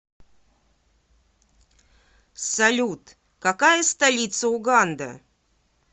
салют какая столица уганда